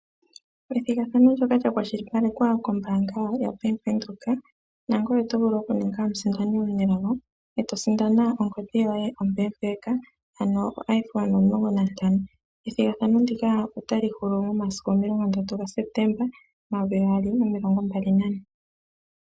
Ethigathano ndyoka lya kwashilipalekwa kombaanga yaVenduka, nangoye oto vulu okuninga omusindani omunelago e to sindana ongodhi yoye ompeempeka, ano oIphone 15. Ethigathano ndika ota li hulu mo masiku omilongo ndatu gaSepetemba, omayovi gaali nomilongo mbali nane.